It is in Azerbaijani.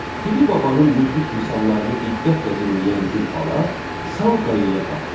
Piri babanın müdrik misallarını diqqətlə dinləyən Gülbala sal qayaya qalxdı.